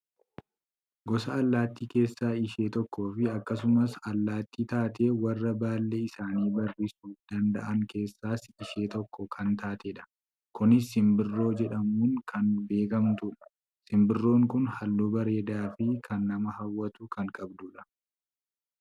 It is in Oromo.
gosa allaattii keessaa ishee tokkoo fi akkasumas allaattii taatee warra baallee isaanii barrisuu danda'an keessaas ishee tokko kan taatedha. kunis simbirroo jedhamuun kan beekkamtudha. simbirroon kun halluu bareedaafii kan nama hawwatu kan qabdudha.